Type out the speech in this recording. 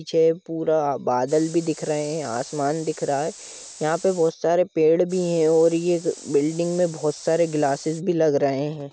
पीछे पूरा बादल भि दिख रहे है आसमान दिख रहा है यहा पर बहुत सारे पेड़ भि है और ये बिल्डिंग में बहोत सारे ग्लासेस भी लग रहे है ।